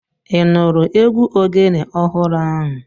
Ị nụrụ egwu Ogene ọhụrụ ahu?